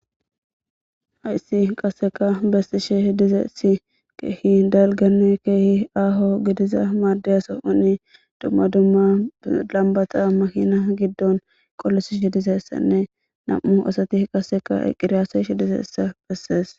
Hayssi qaseka bessishe dizeesi keehi dalgane keehi aaho gidiza maadeyaso oni dumma dumma lambata mahina giddon qollosish h dizessanne nam' u asati qaseka eqqiriyaseshi dizessa bessees.